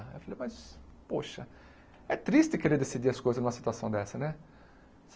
Eu falei, mas, poxa, é triste querer decidir as coisas numa situação dessa, né?